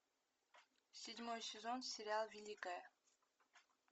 седьмой сезон сериал великая